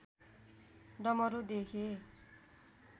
डमरू देखे